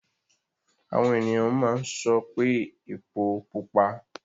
Àwọn ènìyàn máa ń sọ pé epó pupa.